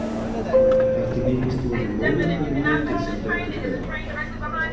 Ekki líkist þú henni móður þinni mikið sem betur fer.